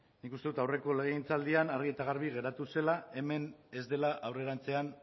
nik uste dut aurreko legegintzaldian argi eta garbi geratu zela hemen ez dela aurrerantzean